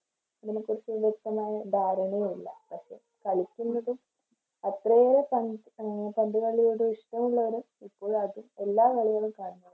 ഇതിനെക്കുറിച്ച് വ്യക്തമായ ധാരണയില്ല. പക്ഷേ കളിക്കുന്നതും അത്രയേറെ പന്ത് ആഹ് പന്തുകളിയോട് ഇഷ്ടമുള്ളവര് തീർച്ചയായിട്ടും എല്ലാ കളികളും കാണുന്നു.